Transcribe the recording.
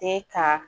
E ka